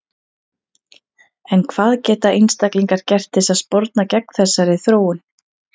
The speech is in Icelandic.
En hvað geta einstaklingar gert til að sporna gegn þessari þróun?